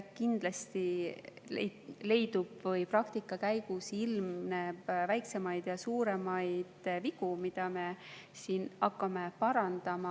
Kindlasti leidub või ilmneb praktikas väiksemaid ja suuremaid vigu, mida me siin hakkame parandama.